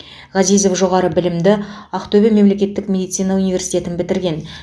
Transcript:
ғазизов жоғары білімді ақтөбе мемлекеттік медицина университетін бітірген